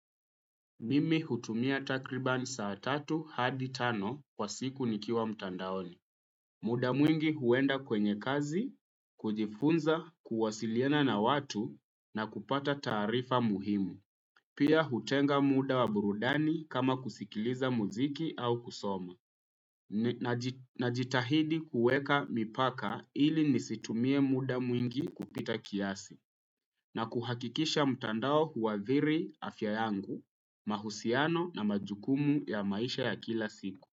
Mimi hutumia takribani saa tatu hadi tano kwa siku nikiwa mtandaoni. Muda mwingi huenda kwenye kazi, kujifunza, kuwasiliana na watu na kupata tarifa muhimu. Pia hutenga muda wa burudani kama kusikiliza muziki au kusoma. Na jitahidi kuweka mipaka ili nisitumie muda mwingi kupita kiasi. Na kuhakikisha mutandao huwadhiri afya yangu, mahusiano na majukumu ya maisha ya kila siku.